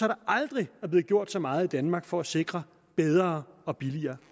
der aldrig er blevet gjort så meget i danmark for at sikre bedre og billigere